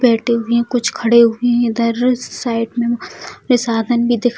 बैठे हुए हैं कुछ खड़े हुए हैं इधर साइड में साधन भी दिख --